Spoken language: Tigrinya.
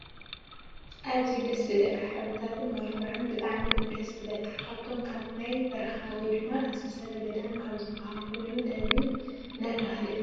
ኣዘዩ ደስ ዝብለካ ሕብርታቱን መመልክዑነ ብጣዕሚ እዩ ደስ ዝብለካ ካብቶም ካብ ናይ በረካ ወይ ድማ እንስሳ ዘገዳም ካብ ዝብሃሉ ኮይኑ ነብሪ እናተባህለ ይፍለጥ።